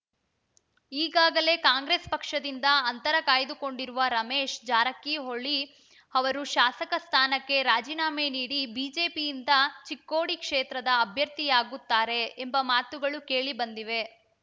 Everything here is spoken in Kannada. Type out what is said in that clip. ಈಗಾಗಲೇ ಕಾಂಗ್ರೆಸ್ ಪಕ್ಷದಿಂದ ಅಂತರ ಕಾಯ್ದುಕೊಂಡಿರುವ ರಮೇಶ್ ಜಾರಕಿಹೊಳಿ ಅವರು ಶಾಸಕ ಸ್ಥಾನಕ್ಕೆ ರಾಜೀನಾಮೆ ನೀಡಿ ಬಿಜೆಪಿಯಿಂದ ಚಿಕ್ಕೋಡಿ ಕ್ಷೇತ್ರದ ಅಭ್ಯರ್ಥಿಯಾಗುತ್ತಾರೆ ಎಂಬ ಮಾತುಗಳು ಕೇಳಿ ಬಂದಿದೆ